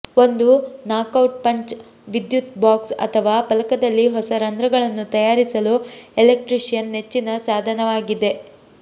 ಒಂದು knockout punch ವಿದ್ಯುತ್ box ಅಥವಾ ಫಲಕದಲ್ಲಿ ಹೊಸ ರಂಧ್ರಗಳನ್ನು ತಯಾರಿಸಲು ಎಲೆಕ್ಟ್ರಿಷಿಯನ್ ನೆಚ್ಚಿನ ಸಾಧನವಾಗಿದೆ